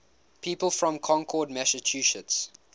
people from concord massachusetts